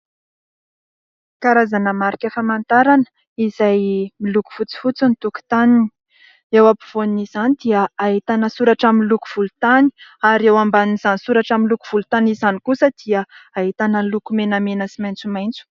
Karazana marika famantarana izay miloko fotsifotsy ny tokotany, eo ampovoan' izany dia ahitana soratra amin'ny loko volontany ary eo ambanin'izany soratra amin'ny loko volontany izany kosa dia ahitana ny loko menamena sy maitsomaitso.